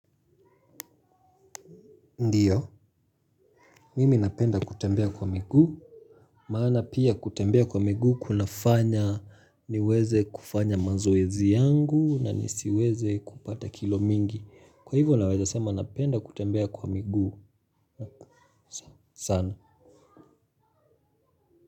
Ndiyo, mimi napenda kutembea kwa miguu. Maana pia kutembea kwa miguu kunafanya niweze kufanya mazoezi yangu na nisiweze kupata kilo mingi. Kwa hivyo naweza sema napenda kutembea kwa miguu sana.